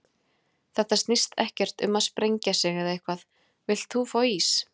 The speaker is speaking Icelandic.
Þetta snýst ekkert um að sprengja sig eða eitthvað, villt þú fá ís?